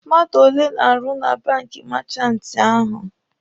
Mmadụ ole na-arụ na banki meechanti ahụ?